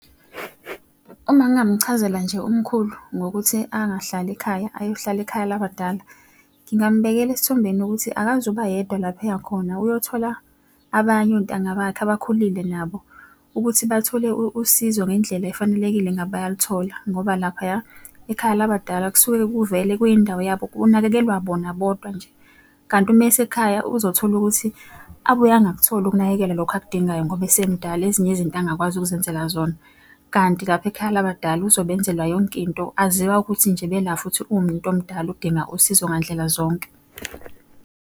Uma ngingamchazela nje umkhulu ngokuthi angahlali ekhaya ayohlala ekhaya labadala, ngingambekela esithombeni ukuthi akaze uba yedwa lapha eya khona. Uyothola abanye ontanga bakhe abakhulile nabo, ukuthi bathole usizo ngendlela efanelekile engabe bayalithola. Ngoba laphaya ekhaya labadala kusuke kuvele kuyindawo yabo kunakekelwa bona bodwa nje. Kanti uma esekhaya, uzothola ukuthi abuye angakutholi ukunakekelwa lokhu akudingayo ngoba esemdala ezinye izinto angakwazi ukuzenzela zona. Kanti lapha ekhaya labadala uzobe enzelwa yonke into, aziwa ukuthi nje bela futhi umntomdala udinga usizo ngandlela zonke.